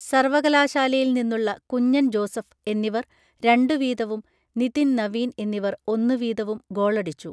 സർവകലാശാലയിൽനിന്നുള്ള കുഞ്ഞൻ ജോസഫ് എന്നിവർ രണ്ടു വീതവും നിതിൻ നവീൻ എന്നിവർ ഒന്നു വീതവും ഗോളടിച്ചു